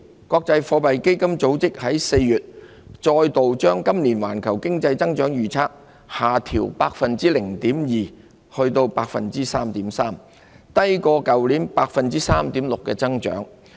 國際貨幣基金組織4月再度把今年環球經濟增長的預測下調 0.2 個百分點至 3.3%， 低於去年 3.6% 的增長。